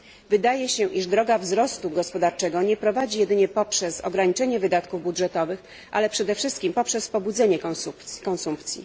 Wydaje się, iż droga wzrostu gospodarczego nie prowadzi jedynie poprzez ograniczenie wydatków budżetowych, ale przede wszystkim poprzez pobudzenie konsumpcji.